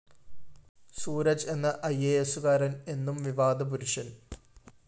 സൂരജ് എന്ന ഐഎഎസുകാരന്‍ എന്നും വിവാദപുരുഷന്‍